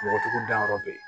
Mɔgɔtigiw dayɔrɔ bɛ yen